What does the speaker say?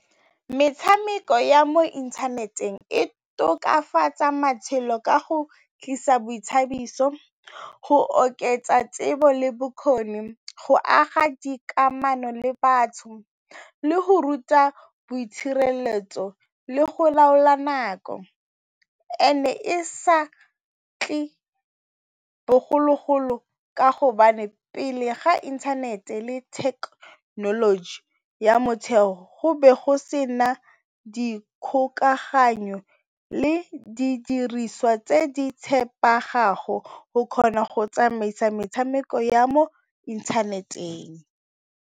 Metshameko ya mo inthaneteng e tokafatsa matshelo ka go tlisa boithabiso, go oketsa tsebo le bokgoni, go aga dikamano le batho le go ruta boitshireletso le go laola nako and-e e sa tle bogologolo ka hobane pele ga inthanete le technology ya motshelo go be go se na di kgokaganyo le didiriswa tse di tshepegago go kgona go tsamaisa metshameko ya mo inthaneteng.